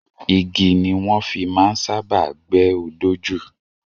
Igi ni wọ́n fi máa ń sábáà gbẹ́ odó jù.